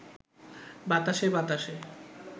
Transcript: বাতাসে বাতাসে